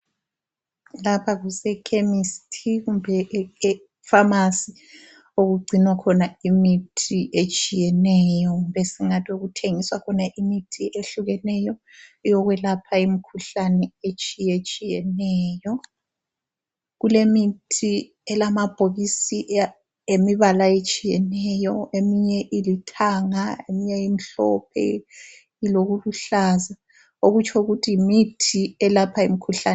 Lapha kuse Chemist kumbe ephamarcy okugcinwa khona imithi etshiyeneyo kumbe esingathi okuthengiswa khona imithi ehlukeneyo eyokwelapha imikhuhlane etshiyetshiyeneyo. Kulemithi yamabhokisi elemibala etshiyeneyo eminye ilithanga eminye imhlophe ilokuluhlaza okutsho ukuthi yimithi elapha imkhuhlane.